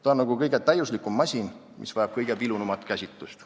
Ta on nagu kõige täiuslikum masin, mis vajab kõige vilunumat käsitlust.